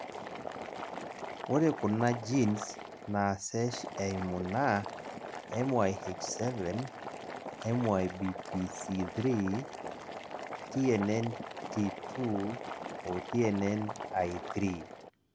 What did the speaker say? ore kuna genes naasesh eimu naa MYH7, MYBPC3, TNNT2, o TNNI3.